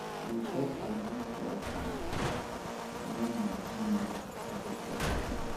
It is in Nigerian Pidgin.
we pop champagne for office um wen my team meet target for office